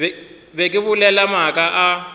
be ke bolela maaka a